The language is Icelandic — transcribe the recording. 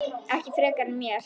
Ekkert frekar en mér.